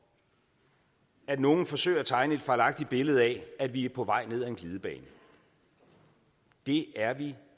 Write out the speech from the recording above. at nogen forsøger at tegne et fejlagtigt billede af at vi er på vej ned ad en glidebane det er vi